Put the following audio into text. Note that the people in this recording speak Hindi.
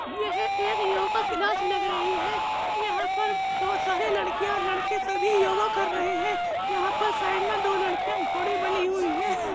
यह एक योगा क्लास लग रही है। यहां पर बोहोत सारे लड़कियां और लड़के सभी योगा कर रहे हैं। यहां पे साइड मे दो लड़कियां घोड़ी बनी हुई हैं।